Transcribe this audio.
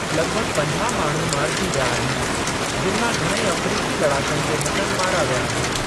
लॻिभॻि पंजाह माण्हू मारिजी विया आहिनि, जिनि मां घणेई अफ़्रीकी लड़ाकनि जे हथनि मारा विया आहिनि।